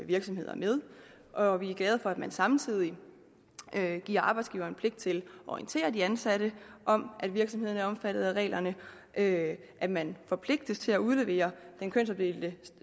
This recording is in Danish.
virksomheder med og vi er glade for at man samtidig giver arbejdsgiveren pligt til at orientere de ansatte om at virksomhederne er omfattet af reglerne at at man forpligtes til at udlevere den kønsopdelte